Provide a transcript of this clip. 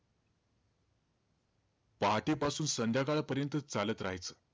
पहाटे पासून संध्याकाळपर्यंत चालत राहायचं.